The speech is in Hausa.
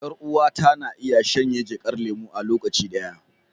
Yar uwata na iya shanye jakar lemu a lokaci ɗaya.